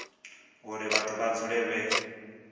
uri vhathu vha dzule vhe